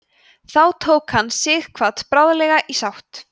þó tók hann sighvat bráðlega í sátt